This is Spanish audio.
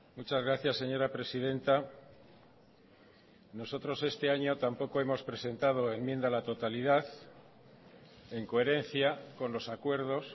muchas gracias señora presidenta nosotros este año tampoco hemos presentado enmienda a la totalidad en coherencia con los acuerdos